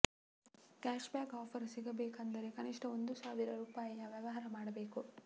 cash back offer ಸಿಗಬೇಕು ಅಂದರೆ ಕನಿಷ್ಠ ಒಂದು ಸಾವಿರ ರುಪಾಯಿಯ ವ್ಯವಹಾರ ಮಾಡಬೇಕು